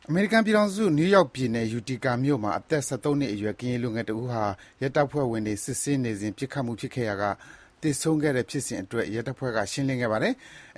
အမေရိကန်ပြည်ထောင်စု၊ နယူးယောက်ပြည်နယ်၊ Utica မြို့မှာ အသက် ၁၃ နှစ်အရွယ် ကရင်လူငယ်တဦးဟာ ရဲတပ်ဖွဲ့ဝင်တွေ စစ်ဆေးနေစဉ် ပစ်ခတ်မှုဖြစ်ရာက သေဆုံးခဲ့တဲ့ဖြစ်စဉ်အတွက် ရဲတပ်ဖွဲ့က ရှင်းလင်းခဲ့ပါတယ်။